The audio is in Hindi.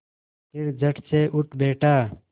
फिर झटसे उठ बैठा